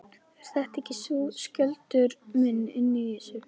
Ert þetta ekki þú, Skjöldur minn, inni í þessu?